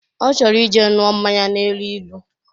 Ọ chọrọ ije ṅụọ mmanya na-elu ilu